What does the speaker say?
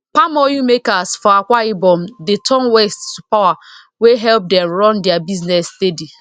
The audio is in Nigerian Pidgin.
palm oil makers for akwa ibom dey turn waste to power wey help them run their business steady